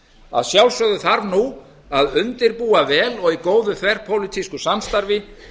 að sjálfsögðu þarf nú að undirbúa vel og í góðu þverpólitísku samstarfi